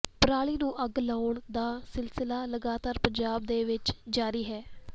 ਪਰਾਲੀ ਨੂੰ ਅੱਗ ਲਗਾਉਣ ਦਾ ਸਿਲਸਿਲਾ ਲਗਾਤਾਰ ਪੰਜਾਬ ਦੇ ਵਿੱਚ ਜਾਰੀ ਹੈ